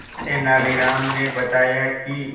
तेनालीराम ने बताया कि